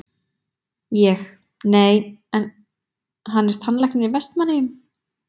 Ég: Nei, hann er tannlæknir í Vestmannaeyjum?